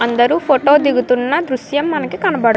అందరు ఫోటో దిగుతున్న దృశ్యం మనకి కనపడ --